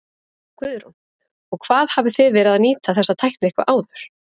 Guðrún: Og hvað hafið þið verið að nýta þessa tækni eitthvað áður?